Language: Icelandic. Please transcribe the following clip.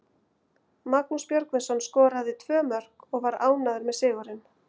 Magnús Björgvinsson skoraði tvö mörk og var ánægður með sigurinn.